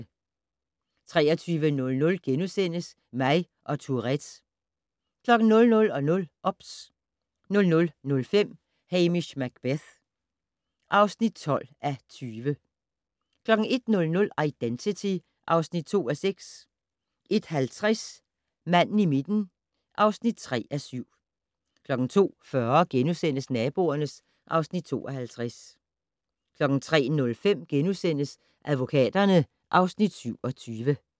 23:00: Mig og Tourettes * 00:00: OBS 00:05: Hamish Macbeth (12:20) 01:00: Identity (2:6) 01:50: Manden i midten (3:7) 02:40: Naboerne (Afs. 52)* 03:05: Advokaterne (Afs. 27)*